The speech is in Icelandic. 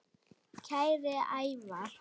Kæri Ævar.